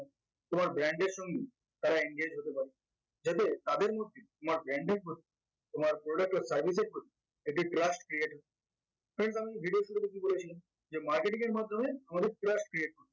তোমার brand এর সঙ্গে তারা engage হতে পারে যাতে তাদের মধ্যে তোমার brand এর প্রতি তোমার product or service এর প্রতি একটি trust create friends আমি video এর শুরুতে কি বলেছিলাম যে marketing এর মাধ্যমে আমাদের trust create